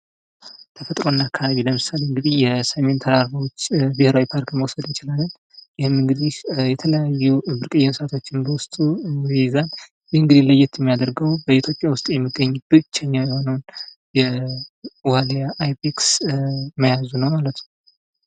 ተፈጥሮና አካባቢ ለምሳሌ እንግዲህ የስሜን ተራራዎች ብሔራዊ ፓርክ መውሰድ እንችላለን ። ይህም እንግዲህ የተለያዩ ብርቅዬ እንስሳቶችን በውስጡ ይይዛል። ይህ እንግዲህ ለየት የሚያደርገው በኢትዮጵያ ውስጥ የሚገኙ ብቸኛ የሆነውን የዋሊያ አይቤክስ መያዙ ነው ማለት ነው።